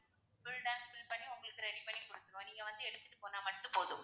full tank fill பண்ணி உங்களுக்கு ready பண்ணி குடுத்திடுவோம் நீங்க வந்து எடுத்துட்டு போனா மட்டும் போதும்.